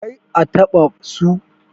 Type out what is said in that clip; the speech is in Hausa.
kar a taɓa su.